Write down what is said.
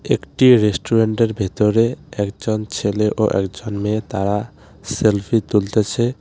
একটি রেস্টুরেন্টের ভেতরে একজন ছেলে ও একজন মেয়ে তারা সেলফি তুলতেছে .